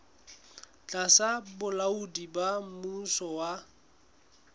tlasa bolaodi ba mmuso wa